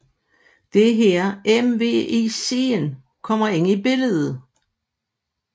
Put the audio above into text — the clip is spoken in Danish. Det er her MVICen kommer ind i billedet